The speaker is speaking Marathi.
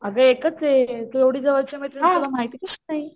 अगं एकच आहे तू एवढी जवळची मैत्रीण तुला माहिती कशी नाही?